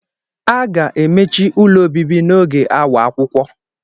A ga-emechi ụlọ obibi n'oge awa akwụkwọ.